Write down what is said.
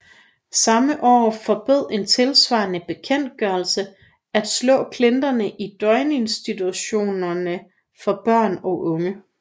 Samme år forbød en tilsvarende bekendtgørelse at slå klienterne i døgninstitutioner for børn og unge